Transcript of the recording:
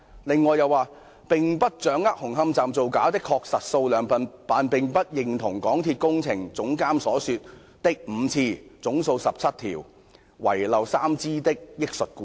"中科又表示"並不掌握紅磡站造假的確實數量，但並不認同港鐵工程總監所說的5次/總數17支/遺漏3支的憶述故事"。